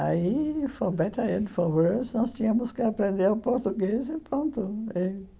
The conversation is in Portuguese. Aí, for better and for worse, nós tínhamos que aprender o português e pronto.